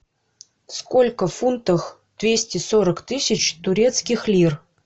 сколько в фунтах двести сорок тысяч турецких лир